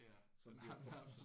Ja nærmest